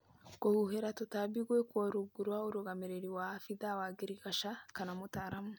Kũhuhĩra tũtambi gwĩkwo rungu rwa ũrũgamĩrĩri wa abithaa wa ngirigasha kana mũtaaramu